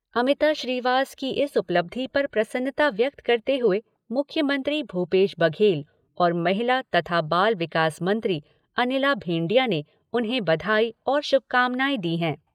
अमिता श्रीवास की इस उपलब्धि पर प्रसन्नता व्यक्त करते हुए मुख्यमंत्री भूपेश बघेल और महिला तथा बाल विकास मंत्री अनिला भेंडिया ने उन्हें बधाई और शुभकामनाएं दी हैं।